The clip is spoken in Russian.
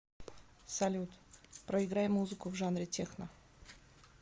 салют проиграй музыку в жанре техно